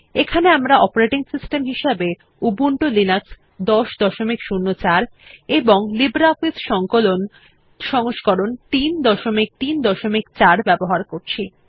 এখানে আমরা operating system হিসেবে উবুন্টু লিনাক্স ১০০৪ এবং লিব্রিঅফিস সংকলন সংস্করণ ৩৩৪ ব্যবহার করছি